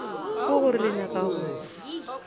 ke gore le nyaka go